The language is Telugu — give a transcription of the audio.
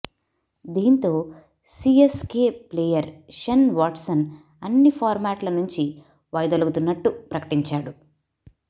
దీంతో సీఎస్కే ప్లేయర్ షేన్ వాట్సన్ అన్ని ఫార్మాట్ల నుంచి వైదొలుగుతున్నట్టు ప్రకటించాడు